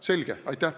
Selge?